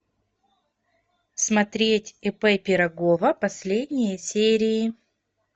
смотреть ип пирогова последние серии